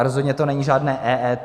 A rozhodně to není žádné EET.